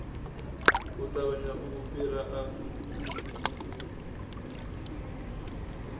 u ṱavhanya u fhira a